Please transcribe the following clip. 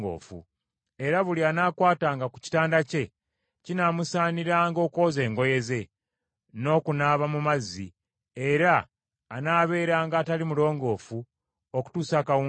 Era buli anaakwatanga ku kitanda kye kinaamusaaniranga okwoza engoye ze, n’okunaaba mu mazzi, era anaabeeranga atali mulongoofu okutuusa akawungeezi.